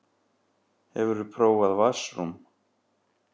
Hefurðu prófað vatnsrúm?